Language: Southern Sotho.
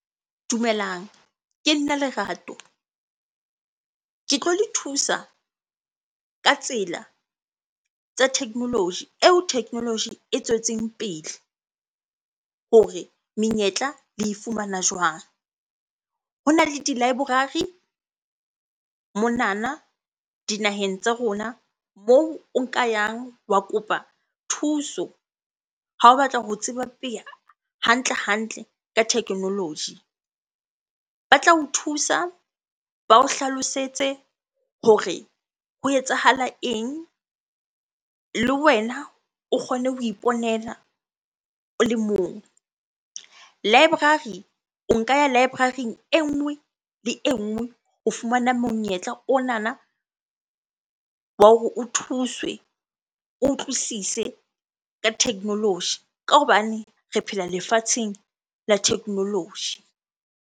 Dumelang, ke nna Lerato. Ke tlo le thusa ka tsela tsa technology, eo technology e tswetseng pele hore menyetla le e fumana jwang? Hona le di-library monana dinaheng tsa rona moo o nka yang wa kopa thuso ha o batla ho tseba hantle-hantle ka technology. Ba tla o thusa, ba o hlalosetse hore ho etsahala eng? Le wena o kgone ho iponela ole mong. Library, o nka ya library-ing e nngwe le e nngwe ho fumana monyetla onana wa hore o thuswe, o utlwisise ka technology ka hobane re phela lefatsheng la technology.